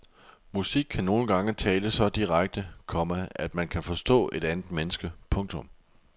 Musik kan nogle gange tale så direkte, komma at man kan forstå et andet menneske. punktum